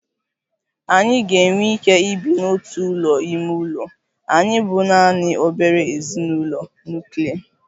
Anyị ga-enwe ike ibi n'otu ụlọ ime ụlọ, anyị bụ naanị obere ezinụlọ nuklia